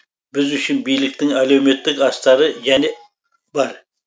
біз үшін биліктің әлеуметтік астары және бар